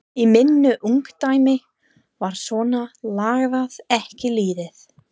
Í mínu ungdæmi var svona lagað ekki liðið.